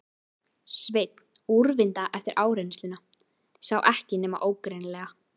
Sveinn, úrvinda eftir áreynsluna, sá ekki nema ógreinilega.